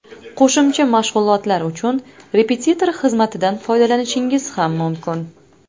Qo‘shimcha mashg‘ulotlar uchun repetitor xizmatidan foydalanishingiz ham mumkin.